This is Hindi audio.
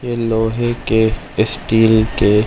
ये लोहे के स्टील के--